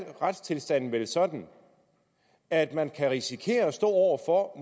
retstilstanden vel sådan at man kan risikere at stå over for